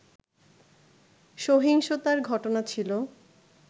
সহিংসতার ঘটনা ছিল